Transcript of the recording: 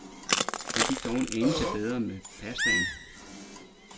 Det gik dog en anelse bedre med pastaen.